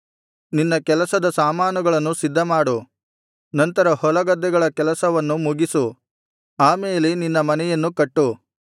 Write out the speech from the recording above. ನಿನ್ನ ಕೆಲಸದ ಸಾಮಾನುಗಳನ್ನು ಸಿದ್ಧಮಾಡು ನಂತರ ಹೊಲಗದ್ದೆಗಳ ಕೆಲಸವನ್ನು ಮುಗಿಸು ಆಮೇಲೆ ನಿನ್ನ ಮನೆಯನ್ನು ಕಟ್ಟು